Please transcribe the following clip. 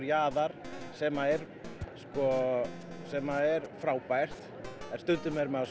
jaðar sem er sem er frábært en stundum er maður